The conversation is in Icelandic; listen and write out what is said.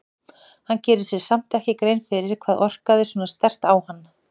Hann gerir sér samt ekki grein fyrir hvað orkaði svona sterkt á hann.